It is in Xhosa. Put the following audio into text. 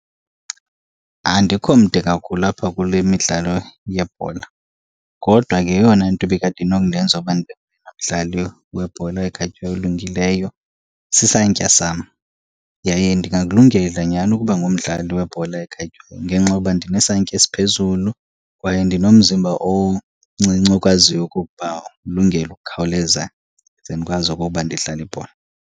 Andikho mde kakhulu apha kule midlalo yebhola. Kodwa ke yeyona nto ibikade inokundenza uba ndibe ngoyena mdlali webhola ekhatywayo olungileyo sisantya sam. Yaye ndingakulungela nyhani ukuba ngumdlali webhola ekhatywayo ngenxa yokuba ndinesantya esiphezulu, kwaye ndinomzimba omncinci okwaziyo okokuba ulungele ukukhawuleza ndize ndikwazi okokuba ndidlale ibhola.